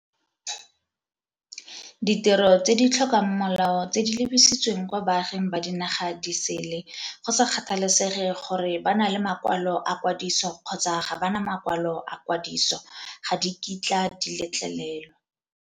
Ditiro tse di tlhokang molao tse di lebisitsweng kwa baaging ba dinaga di sele, go sa kgathalesege gore ba na le makwalo a kwadiso kgotsa ga ba na makwalo a kwadiso, ga di kitla di letlelelwa.